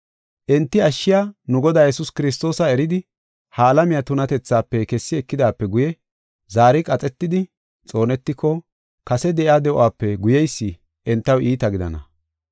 Enti ashshiya nu Godaa Yesuus Kiristoosa eridi ha alamiya tunatethaafe kessi ekidaape guye, zaari qaxetidi xoonetiko kase de7iya de7uwape guyeysi entaw iita gidana.